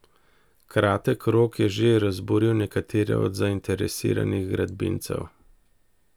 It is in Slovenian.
Kratek rok je že razburil nekatere od zainteresiranih gradbincev.